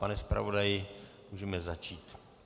Pane zpravodaji, můžeme začít.